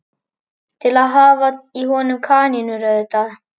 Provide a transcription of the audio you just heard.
Til að hafa í honum kanínur auðvitað.